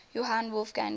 johann wolfgang goethe